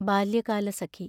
Balyakalasakhi